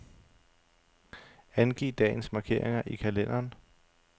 Angiv dagens markeringer i kalenderen.